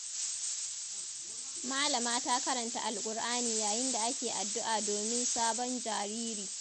Malama ta karanta alƙur'ani yayin da ake addu’a domin sabon jariri.